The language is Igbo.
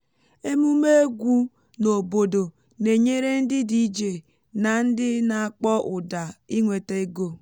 emume egwu n’obodo na-enyere ndị dj na ndị na-akpọ ụda inweta ego